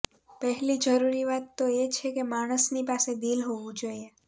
પહેલી જરૂરી વાત તો એ છે કે માણસની પાસે દિલ હોવું જોઈએ